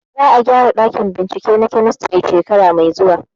Za a gyara ɗakin bincike na kemistri shekara mai zuwa